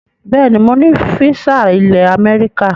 Bẹẹ ni mo ní físà ilẹ̀ Amẹ́ríkà